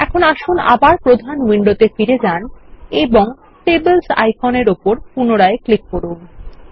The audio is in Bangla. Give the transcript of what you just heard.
এখন আসুন আবার প্রধান উইন্ডোতে ফিরে যান এবং টেবলস আইকনের উপর পুনরায় ক্লিক করুন